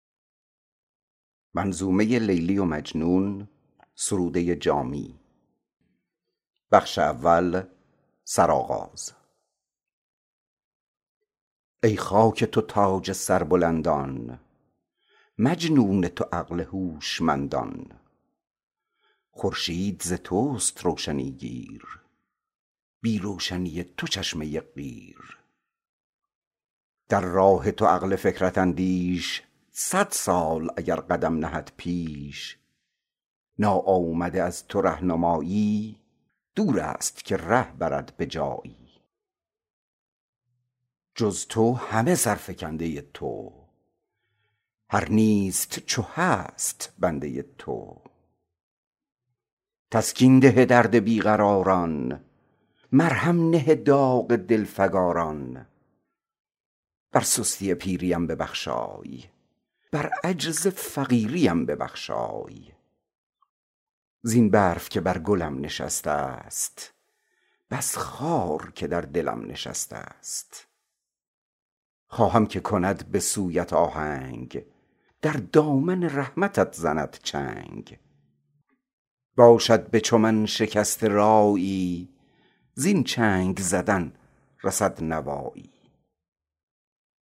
ای خاک تو تاج سربلندان مجنون تو عقل هوشمندان محجوب تو را نهار لیلی مکشوف تو را سها سهیلی خورشید ز توست روشنی گیر بی روشنی تو چشمه قیر بر چشمه قیر اگر بتابی گیرد فلکش به آفتابی ای دست مقربان آگاه از دامن عزت تو کوتاه در راه تو عقل فکرت اندیش صد سال اگر قدم نهد پیش ناآمده از تو رهنمایی دور است که ره برد به جایی هر رو که در آشنایی توست از پرتو رهنمایی توست ای هستی بخش هر چه هست است کس بی تو ز نیستی نرسته ست فرمان تو را درازدستی بر عالم نیستی و هستی خود را ز تو نیست هست دیده هست از تو به نیستی رسیده جز تو همه سرفکنده تو هر نیست چو هست بنده تو ای از خم کاف و حلقه نون صد نقش بدیع داده بیرون آن نور که از شکاف کاف است پیدا کن قاف تا به قاف است بی نقطه نون نگشته دایر بر مرکز هستی این دوایر هر بحر کرم که صرف کردی از چشمه این دو حرف کردی ای در یکی و یگانگی فرد با تو نفس از یگانگی سرد پاکی ز توهم دویی تو در حکم خرد همین تویی تو رقام ازل به کلک تقدیر قسام ابد به تیغ تدبیر دیباچه نویس دفتر عقل رخشانی بخش گوهر عقل پرگار زن محیط افلاک بر مرکز تنگ عرصه خاک کاشانه فروز شب سیاهان از مشعل نور صبحگاهان دراعه طراز کوه و صحرا از سبزی حله های خضرا بر قامت شاهدان نوروز بی رشته قبا و پیرهن دوز شیرازه کن جریده گل دمساز جریده خوان بلبل از کیسه غنچه بند فرسای در کاسه لاله مشک تر سای رخساره نگار هر نگاری ناوک زن هر درون فگاری یاریگر هر ز یار مانده همراه هر از دیار رانده تسکین ده درد بی قراران مرهم نه داغ دلفگاران شورابه گشای چشمه چشم صفرا شکن زبانه خشم دباغ ادیم لاجوردی صباغ خزان چهره زردی از طلعت دلبران طناز بر طلعت خویش برقع انداز خارافکن راه سست رایان خارا کن سد تیز پایان عصیان کاه جنایت آمرز اول گیر نهایت آمرز بگذشت ز حد جنایت من تا خود چه شود نهایت من گر بگدازی گناهکارم ور بنوازی امیدوارم بنگر به امیدواری من بگذر ز گناهکاری من هر چیز که خواهم از تو دارم وین نیز که خواهم از تو دارم مهر کهن مرا نوی ده در خواهش خود دلی قوی ده روزی که قوی نهاد بودم بیرون ز طریق داد بودم کارم نه به وفق عقل و دین بود رویم نه به شارع یقین بود و امروز که رو به ره نهادم وز دل گره گنه گشادم در دست نماند قوت کار وز پای برفت زور رفتار بر سستی و پیریم ببخشای بر عجز و فقیریم ببخشای بنشسته به فرق من سفیدی برفیست ز ابر ناامیدی زین برف فسرده گشت روزم زان آتش آه می فروزم هر برف که بر زمین نشیند بهر گل و یاسمین نشیند زین برف که بر گلم نشسته ست بس خار که بر دلم شکسته ست خاری که شکست در دل من روزی که برآید از گل من خواهم که کند به سویت آهنگ در دامن رحمتت زند چنگ باشد به چو من شکسته رایی زین چنگ زدن رسد نوایی